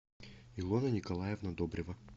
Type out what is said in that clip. илона николаевна добрева